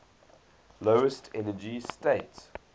lowest energy state